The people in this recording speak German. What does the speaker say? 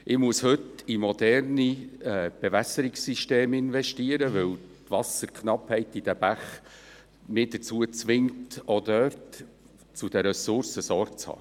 Ich muss heute in moderne Bewässerungssysteme investieren, weil die Wasserknappheit in den Bächen mich dazu zwingt, auch dort zu den Ressourcen Sorge zu tragen.